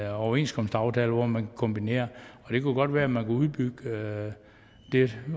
overenskomstaftaler hvor man kan kombinere og det kunne godt være man kunne udbygge det